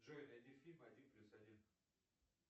джой найди фильм один плюс один